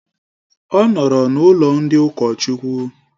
Ọ nọọrọ n'ụlọ ndị ụkọchukwu.